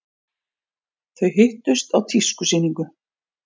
Þau hittust á tískusýningu.